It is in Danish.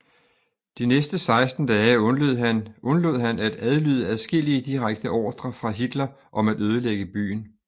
De næste 16 dage undlod han at adlyde adskillige direkte ordrer fra Hitler om at ødelægge byen